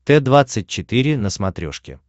т двадцать четыре на смотрешке